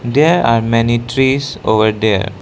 There are many trees over there.